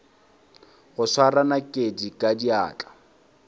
go swara nakedi ka diatla